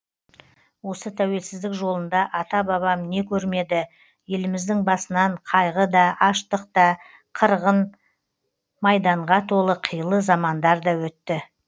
осы тәуелсіздік жолында ата бабам не көрмеді еліміздің басынан қайғыда аштық та қырғын майданға толы қилы замандар да өтті